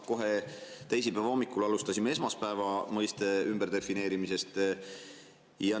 Kohe teisipäeva hommikul alustasime esmaspäeva mõiste ümberdefineerimisest.